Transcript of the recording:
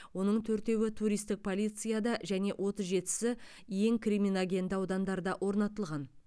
оның төртеуі туристік полицияда және отыз жетісі ең криминогенді аудандарда орнатылған